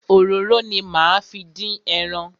Òróró ni máa fi dín ẹran.